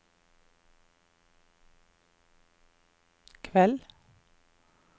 kveld